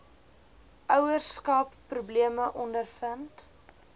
ouerskap probleme ondervind